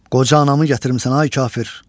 Qoca anamı gətirmisən, ay kafir.